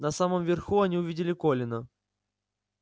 на самом верху они увидели колина